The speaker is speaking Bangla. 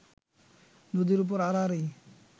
নদীর ওপর আড়াআড়ি